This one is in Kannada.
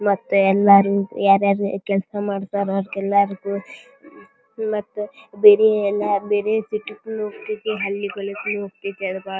ಮತ್ತೆ ಎಲ್ಲರ್ ಯಾರ ಯಾರು ಕೆಲ್ಸ ಮಾಡ್ತಾರಾ ಎಲ್ಲರಿಗೂ ಮತ್ತ ಬೇರೆಯವರಿಗೆ